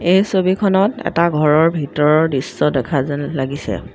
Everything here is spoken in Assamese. এই ছবিখনত এটা ঘৰৰ ভিতৰৰ দৃশ্য দেখা যেন লাগিছে।